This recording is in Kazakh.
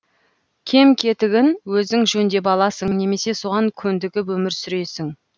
кем кетігін өзің жөндеп аласың немесе соған көндігіп өмір сүресің